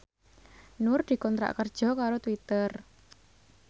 Nur dikontrak kerja karo Twitter